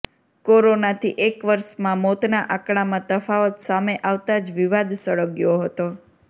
કોરોનાથી એક વર્ષમાં મોતના આંકડામાં તફાવત સામે આવતા જ વિવાદ સળગ્યો હતો